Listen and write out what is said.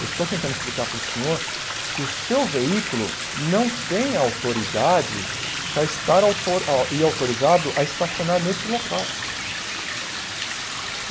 Eu estou tentando explicar para o senhor que o seu veículo não tem autoridade para estar auto e autorizado para estacionar nesse local.